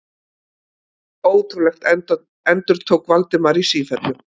Ótrúlegt endurtók Valdimar í sífellu.